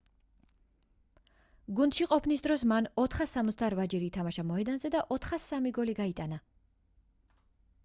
გუნდში ყოფნის დროს მან 468-ჯერ ითამაშა მოედანზე და 403 გოლი გაიტანა